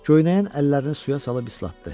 Göynəyən əllərini suya salıb islatdı.